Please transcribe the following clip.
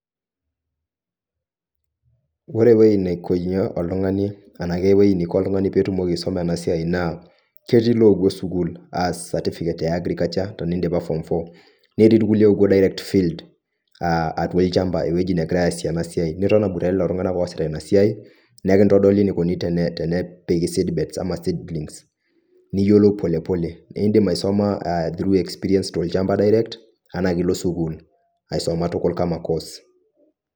Ore ewueji nekwenyi oltungani anaake ewueji neiko oltungani petum aisuma ena siai naa: Ketii loopuo sukuul aas certificate e agriculture tenidipa form four Netii irkulikae oopuo direct field aatua olchamba ewueji negirae aasie ena siai niton aboitare iltungana oasita ina siai naa ekitodoli enikoni tenepiko seed bed ashu seedlings Niyiolou polepole nidim eisuma through experience to lchamba direct anaa ilo sukuul aisuma tukul kama course.